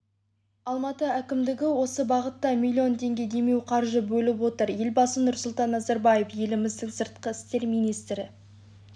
алматы әкімдігі осы бағытта миллион теңге демеуқаржы бөліп отыр елбасы нұрсұлтан назарбаев еліміздің сыртқы істер министрі